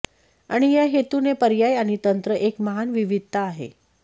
आणि या हेतूने पर्याय आणि तंत्र एक महान विविधता आहे